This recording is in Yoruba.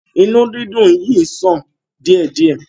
Inú dídùn yìí ń ṣàn díẹ̀ díẹ̀.